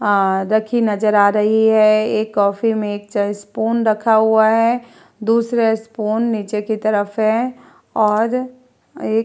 आ रखी नज़र आ रही है। एक कॉफ़ी में एक चाय स्पून रखा हुआ है। दूसरा स्पून नीचें की तरफ़ है और एक --